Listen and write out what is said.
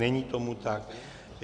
Není tomu tak.